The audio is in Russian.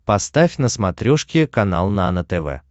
поставь на смотрешке канал нано тв